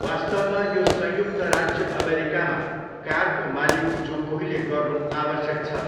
वास्तवमा, यो संयुक्त राज्य अमेरिकामा कारको मालिक जो कोहीले गर्नु आवश्यक छ।